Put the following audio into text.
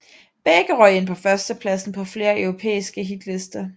Begge røg ind på førstepladsen på flere europæiske hitlister